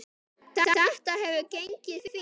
Þetta hefur gengið fínt.